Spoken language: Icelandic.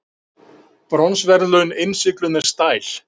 Bronsverðlaun innsigluð með stæl